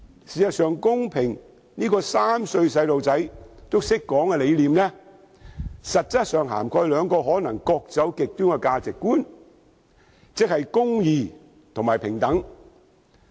事實上，公平這個3歲小朋友也懂得說的理念，實質上涵蓋兩個可能各走極端的價值觀：公義和平等。